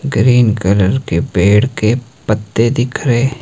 green colour के पेड़ के पत्ते दिख रहे--